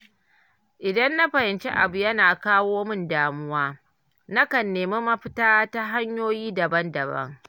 Idan na fahimci abu yana kawo min damuwa, nakan nemi mafita ta hanyoyi daban-daban.